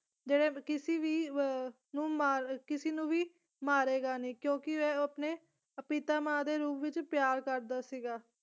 ਜਿਹੜੇ ਕਿਸੇ ਵੀ ਵ ਨੂੰ ਮਾਰ ਅਹ ਕਿਸੇ ਨੂੰ ਵੀ ਮਾਰੇਗਾ ਨੀ ਕਿਉਂਕਿ ਉਹ ਆਪਣੇ ਪਿਤਾਮਾ ਦੇ ਰੂਪ ਵਿੱਚ ਪਿਆਰ ਕਰਦਾ ਸੀਗਾ।